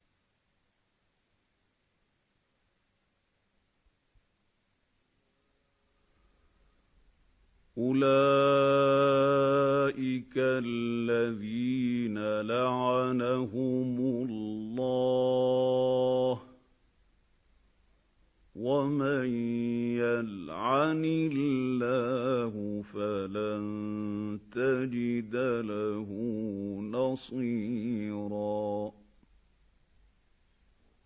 أُولَٰئِكَ الَّذِينَ لَعَنَهُمُ اللَّهُ ۖ وَمَن يَلْعَنِ اللَّهُ فَلَن تَجِدَ لَهُ نَصِيرًا